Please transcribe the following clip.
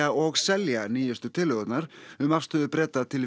og selja nýjustu tillögurnar um afstöðu Breta til